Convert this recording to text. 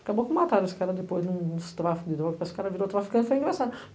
Acabou que mataram, esse cara depois num tráfico de drogas, esse cara virou traficante, foi engraçado.